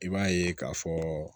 I b'a ye k'a fɔ